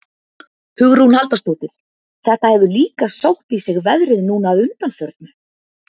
Hugrún Halldórsdóttir: Þetta hefur líka sótt í sig veðrið núna að undanförnu?